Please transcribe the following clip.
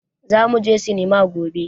Zamu je sinima gobe.